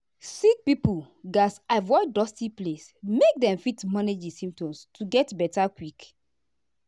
sick pipo gatz avoid dusty place make dem fit manage di symptoms to get beta quick.